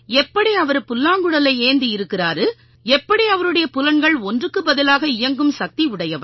எப்படி அவரு புல்லாங்குழலை ஏந்தி இருக்காரு எப்படி அவருடைய புலன்கள் ஒன்றுக்கு பதிலாக இயங்கும் சக்தி உடையவை